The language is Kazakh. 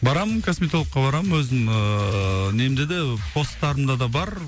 барамын косметологқа барамын өзім ыыы немде де постарымда да бар